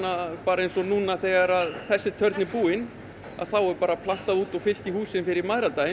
eins og núna þegar þessi törn er búin þá er bara plantað út og fyllt í húsin fyrir mæðradaginn